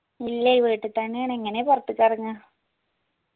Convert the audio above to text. ഇല്ല ഈ വീട്ടിൽ തെന്നെയാണ് എങ്ങനെ പോർത്തക്ക് ഇർങ്ങാ